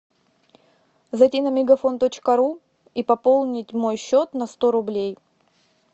зайди на мегафон точка ру и пополнить мой счет на сто рублей